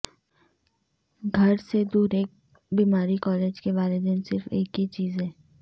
گھر سے دور ایک بیماری کالج کے والدین صرف ایک ہی چیز ہے